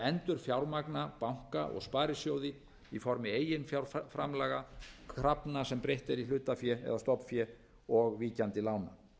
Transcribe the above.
endurfjármagna banka og sparisjóði í formi eiginfjárframlaga krafna sem breytt er í hlutafé eða stofnfé og víkjandi lán